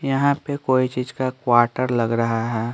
यहां पे कोई चीज का क्वार्टर लग रहा है।